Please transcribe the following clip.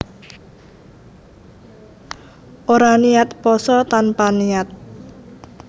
Ora niat pasa tanpa niat